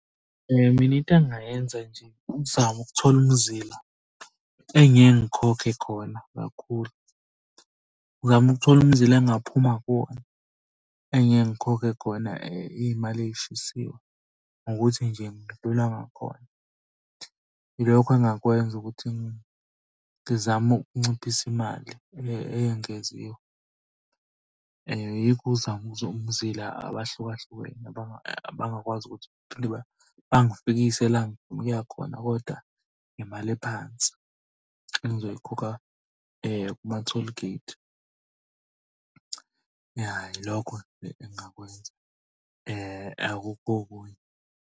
Phela mina into engingayenza nje ukuzama ukuthola umzila engingeke ngikhokhe khona kakhulu. Ngizame ukuthola umzila engingaphuma kuwona, engike ngikhokhe khona iy'mali ey'shisiwe ngokuthi nje ngidlula ngakhona. Ilokho engingakwenza ukuthi ngizame ukunciphisa imali eyengeziwe. Yikho ukuthi umzila abahluka hlukene abangakwazi ukuthi bangifikise la engifuna ukuya khona koda ngemali ephansi engizoyikhokha kuma-tollgate. Ya ilokho engingakwenza, akukho okunye.